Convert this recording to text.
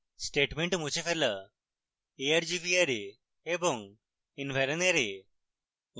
statement মুছে ফেলা argv array এবং environ array